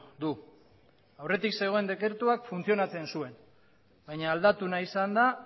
du aurretik zegoen dekretuak funtzionatzen zuen baina aldatu nahi izan da